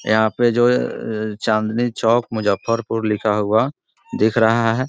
यहाँ जो ये चाँदनी चौक मुजजफफपुर लिखा हुआ दिख रहा है ।